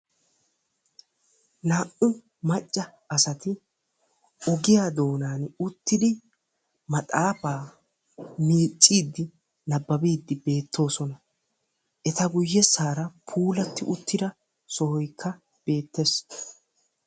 Naa'u macca asati ogiya doonan uttidi maxaafaa miicciiddi nabbabiiddi beettoosona. Eta guyyessaara puulatti uttida sohoykka beettes.